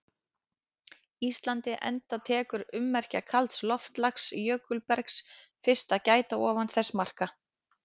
Íslandi enda tekur ummerkja kalds loftslags- jökulbergs- fyrst að gæta ofan þessara marka.